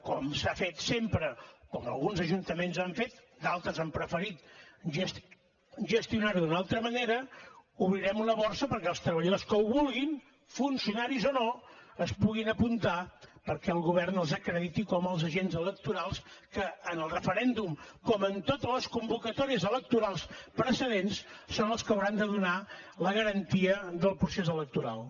com s’ha fet sempre com alguns ajuntaments han fet d’altres han preferit gestionar ho d’una altra manera obrirem una borsa perquè els treballadors que ho vulguin funcionaris o no es puguin apuntar perquè el govern els acrediti com a agents electorals que en el referèndum com en totes les convocatòries electorals precedents són els que hauran de donar la garantia del procés electoral